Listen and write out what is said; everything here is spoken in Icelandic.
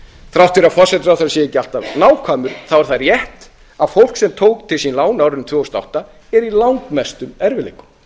þrátt fyrir að forsætisráðherra sé ekki alltaf nákvæmur er það rétt að fólk sem tók til sín lán á árinu tvö þúsund og átta er í langmestum erfiðleikum